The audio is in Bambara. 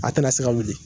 A tɛna se ka wuli